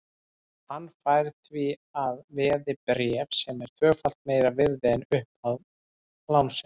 Hann fær því að veði bréf sem eru tvöfalt meira virði en upphæð lánsins.